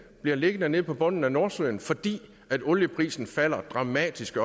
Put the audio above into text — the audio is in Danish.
bliver liggende nede på bunden af nordsøen fordi olieprisen falder dramatisk